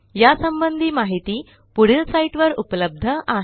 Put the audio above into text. यासंबंधी माहिती पुढील साईटवर उपलब्ध आहे